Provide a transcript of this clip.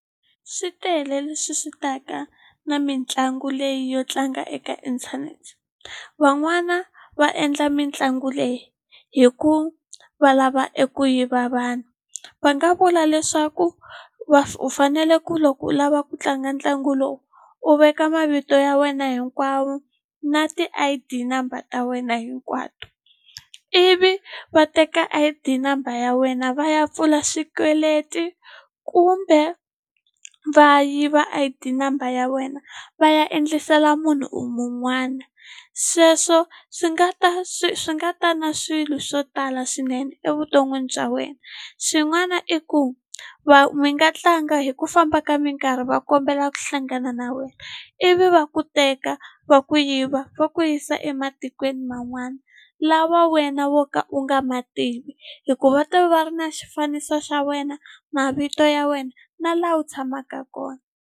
Swi tele leswi swi ta ka na mitlangu leyi yo tlanga eka internet van'wana va endla mitlangu leyi hi ku va lava eku yiva vanhu va nga vula leswaku u fanele ku loko u lava ku tlanga ntlangu lowu u veka mavito ya wena hinkwawo na ti-I_D number ta wena hinkwato ivi va teka I_D number ya wena va ya pfula swikweleti kumbe va yiva a I_D number ya wena va ya endlisela munhu u mun'wana sweswo swi nga ta swi swi nga ta na swilo swo tala swinene evuton'wini bya wena xin'wana i ku va mi nga tlanga hi ku famba ka mi nga nkarhi va kombela ku hlangana na wena ivi va ku teka va ku yiva va ku yisa ematikweni man'wana lawa wena wo ka u nga ma tivi hikuva va ta va va ri na xifaniso xa wena mavito ya wena na laha u tshamaka kona.